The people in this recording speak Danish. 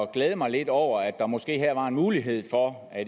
glæde mig lidt over at der måske her var en mulighed for at